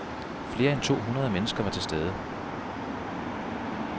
Flere end to hundrede mennesker var til stede.